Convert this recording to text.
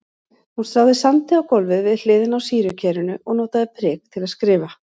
Hún stráði sandi á gólfið við hliðina á sýrukerinu og notaði prik til að skrifa.